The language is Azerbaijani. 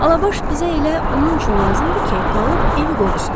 Alabaş bizə elə onun üçün lazımdır ki, qalıb evi qorusun.